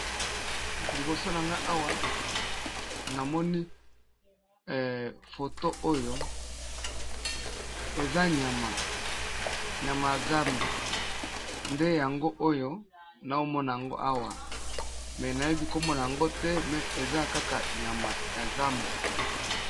liboso na nga awa namoni foto oyo eza nyama ya zamba nde yango oyo naomona yango awa me nayebi komona yango te me eza kaka nyama ya zamba